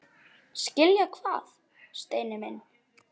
Skilja hvað, Steini minn?